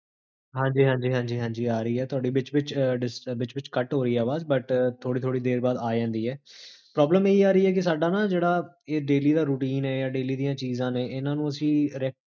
ਹਾਂਜੀ ਹਾਂਜੀ ਹਾਂਜੀ, ਆ ਰਹੀ ਹੈ, ਥੋਡੀ ਬਿਚ ਬਿਚ ਕਟ ਹੋ ਰਹੀ ਹੈ ਆਵਾਜ਼, but, ਥੋੜੀ ਥੋੜੀ ਦੇਰ ਬਾਦ ਆਜਾਂਦੀ ਹੈ, ਪ੍ਰੋਬਲਮ ਇਹੀ ਆ ਰਹੀ ਹੈ, ਕੀ ਸਾਡਾ ਨਾ ਜੇਹੜਾ ਇਹ daily ਦਾ ਜੋ routine ਹੈ, daily ਦੀਆਂ ਚੀਜ਼ਾਂ ਨੇ, ਇੰਨਾ ਨੂ ਅਸੀ